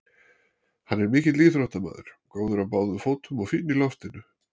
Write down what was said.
Hann er mikill íþróttamaður, góður á báðum fótum og fínn í loftinu.